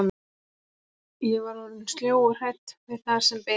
Ég var orðin sljó og hrædd við það sem beið mín.